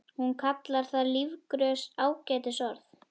Hún kallar það lífgrös, ágætis orð.